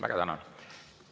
Väga tänan!